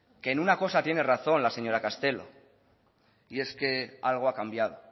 que en una cosa tiene razón la señora castelo y es que algo ha cambiado